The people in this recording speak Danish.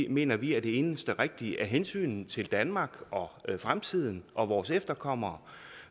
mener vi er det eneste rigtige af hensyn til danmark og fremtiden og vores efterkommere